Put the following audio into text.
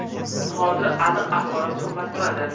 Hozir aniq axborot qimmat turadi.